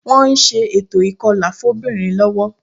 Wọ́n ń ṣe ètò ìkọlà fóbìnrin lọ́wọ́